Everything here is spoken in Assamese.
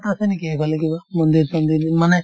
আছে নেকি সেইফালে কিবা মন্দিৰ-চন্দিৰ মানে